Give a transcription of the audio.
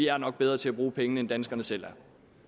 er nok bedre til at bruge pengene end danskerne selv